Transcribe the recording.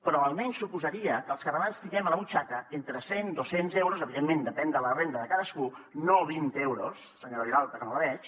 però almenys suposaria que els catalans tinguem a la butxaca entre cent i dos cents euros evidentment depèn de la renda de cadascú no vint euros senyora vilalta que no la veig